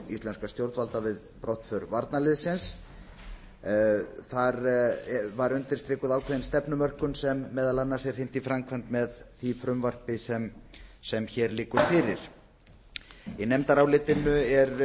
íslenskra stjórnvalda við brottför varnarliðsins þar var undirstrikuð ákveðin stefnumörkun sem meðal annars er er hrint í framkvæmd með því frumvarpi sem hér liggur fyrir í nefndarálitinu